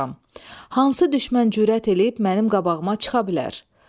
Hansı düşmən cürət eləyib mənim qabağıma çıxa bilər?